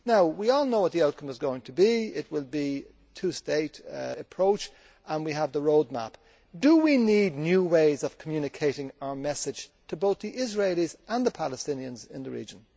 We all know what the outcome is going to be it will be a two state approach and we have the road map, but do we not need new ways of communicating our message to both the Israelis and the Palestinians in the region?